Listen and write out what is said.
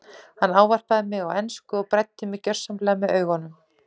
Hann ávarpaði mig á ensku og bræddi mig gjörsamlega með augunum.